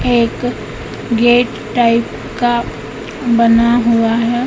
एक gate type का बना हुआ है।